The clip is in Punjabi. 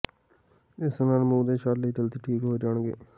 ਇਸ ਨਾਲ ਮੂੰਹ ਦੇ ਛਾਲੇ ਜਲਦੀ ਠੀਕ ਹੋ ਜਾਣਗੇ